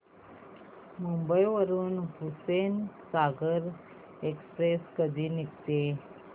मुंबई वरून हुसेनसागर एक्सप्रेस कधी निघते